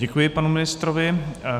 Děkuji panu ministrovi.